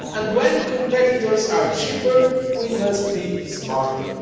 When competitors are cheaper, we must be smarter.